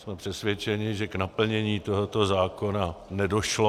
Jsme přesvědčeni, že k naplnění tohoto zákona nedošlo.